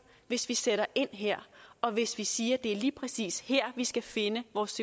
hvis vi sætter ind her og hvis vi siger at det lige præcis er her vi skal finde vores